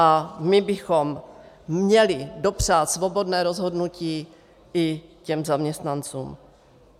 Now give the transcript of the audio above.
A my bychom měli dopřát svobodné rozhodnutí i těm zaměstnancům.